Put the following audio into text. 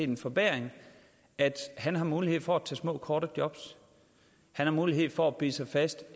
den forbedring at han har mulighed for at tage små kortvarige jobs og har mulighed for at bide sig fast